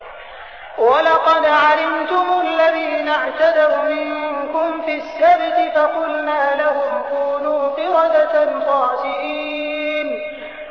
وَلَقَدْ عَلِمْتُمُ الَّذِينَ اعْتَدَوْا مِنكُمْ فِي السَّبْتِ فَقُلْنَا لَهُمْ كُونُوا قِرَدَةً خَاسِئِينَ